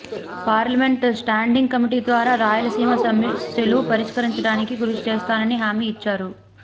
parliament standing committee ద్వారా రాయలసీమ సమస్యలు పరిష్కరించడానికి కృషి చేస్తానని హామీ ఇచ్చారు